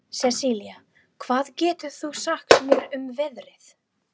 Sesilía, hvað geturðu sagt mér um veðrið?